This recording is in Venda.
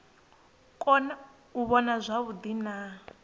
kona u vhona zwavhuḓi na